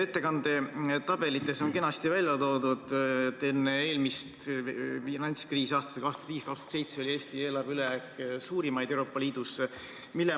Ettekande tabelites on kenasti välja toodud, et enne eelmist finantskriisi aastatel 2005–2007 oli Eesti eelarve ülejääk suurimaid Euroopa Liidus.